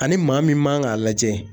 Ani maa min man kan k'a lajɛ